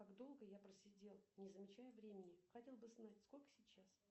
как долго я просидел не замечая времени хотел бы знать сколько сейчас